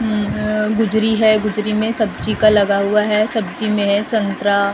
उम्म अ गुजरी है गुजरी में सब्जी का लगा हुआ है सब्जी में है संतरा --